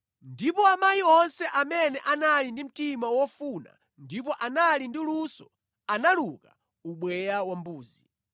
Ndipo amayi onse amene anali ndi mtima wofuna ndipo anali ndi luso analuka ubweya wa mbuzi.